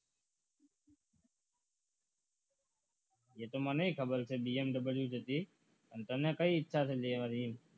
એ તો મને ખબર છે BMW જ હતી પણ તને કઈ ઈચ્છા છે લેવાની